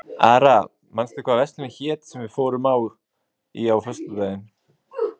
Ara, manstu hvað verslunin hét sem við fórum í á föstudaginn?